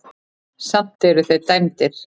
Samt eru þeir dæmdir.